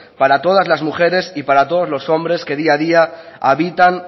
para todas las mujeres y para todos los hombres que día a día habitan